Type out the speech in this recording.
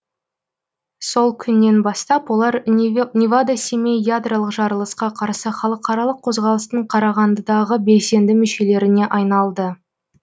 сол күннен бастап олар невада семей ядролық жарылысқа қарсы халықаралық қозғалыстың қарағандыдағы белсенді мүшелеріне айналды